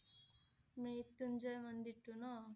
মৃত্যুঞ্জয় মন্দিৰটো ন?